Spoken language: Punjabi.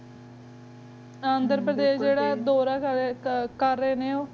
ਅੰਦਰ ਪਰਦੇਸ਼ ਜੀਰਾ ਹੈਂ ਗਾ ਦੁਰਾ ਪਰਦੇਸ਼ ਕਰ ਲੇੰਡੀ ਹੋ